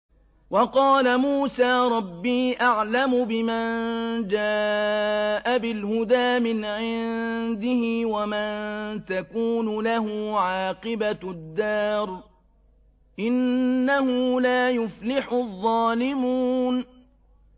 وَقَالَ مُوسَىٰ رَبِّي أَعْلَمُ بِمَن جَاءَ بِالْهُدَىٰ مِنْ عِندِهِ وَمَن تَكُونُ لَهُ عَاقِبَةُ الدَّارِ ۖ إِنَّهُ لَا يُفْلِحُ الظَّالِمُونَ